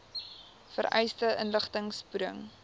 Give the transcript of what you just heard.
vereiste inligting spoedig